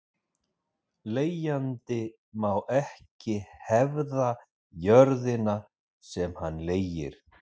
Leigjandi má ekki hefða jörðina sem hann leigir.